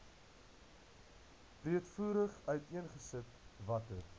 breedvoerig uiteengesit watter